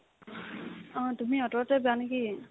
অ, তুমি অ'টোতে যোৱানে কি ?